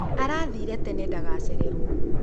Arathĩĩre tene ndagacererwo.